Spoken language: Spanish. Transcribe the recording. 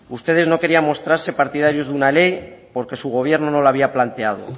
ustedes no querían mostrarse partidarios de una ley porque su gobierno no la había plantado